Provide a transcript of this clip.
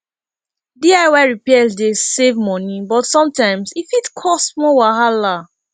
diy repairs dey save money but sometimes e fit cause more wahala